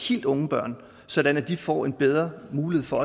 helt unge børn sådan at de får bedre muligheder for